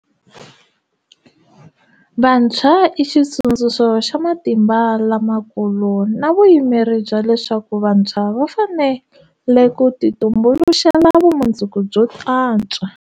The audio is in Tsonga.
Vantshwa i xitsundzuxo xa matimba lamakulu na vuyimeri bya leswaku vantshwa va fanele ku titumbuluxela vumundzuku byo antswa.